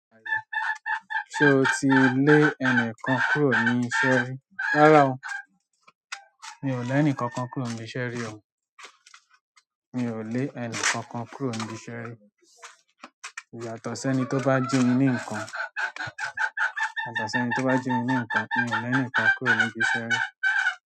Ṣe o ti le ẹnikan kúrò ni iṣẹ́ ri. Rárá o, mi ò lé ẹnìkankan kúrò níbi iṣẹ́ rí o. Mi ò lé ẹni kankan kúrò níbi iṣẹ́ rí. Yàtọ̀ sẹ́ni tó bá jí mi ní nǹkan, yàtọ̀ sẹ́ni tó bá jí mi ní nǹkan ni mi ò lé ẹnìkan kúrò níbi iṣẹ́ rí.